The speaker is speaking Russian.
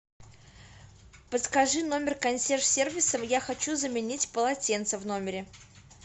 подскажи номер консьерж сервиса я хочу заменить полотенца в номере